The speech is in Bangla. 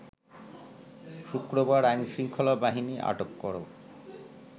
শুক্রবার আইনশৃঙ্খলা বাহিনী আটক কর